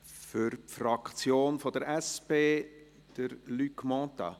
Für die SP-JUSO-PSA-Fraktion: Luc Mentha.